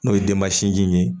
N'o ye denba sinji ye